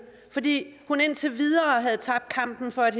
fordi hun indtil videre havde tabt kampen for at